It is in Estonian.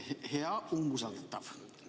Hea umbusaldatav!